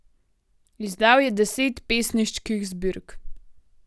Izdal je deset pesniških zbirk.